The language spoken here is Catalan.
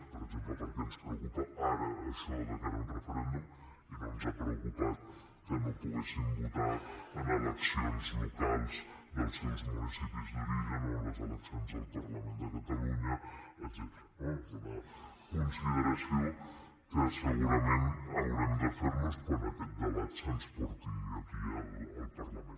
per exemple per què ens preocupa ara això de cara a un referèndum i no ens ha preocupat que no poguessin votar en eleccions locals dels seus municipis d’origen o en les eleccions al parlament de catalunya etcètera no és una consideració que segurament haurem de fer nos quan aquest debat se’ns porti aquí al parlament